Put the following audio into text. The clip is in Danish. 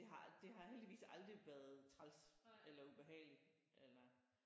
Det har det har heldigvis aldrig været træls eller ubehageligt eller